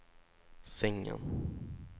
sängen